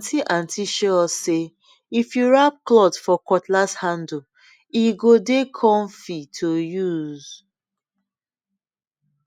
our aunty aunty show us say if you wrap cloth for cutlass handle e go dey comfy to use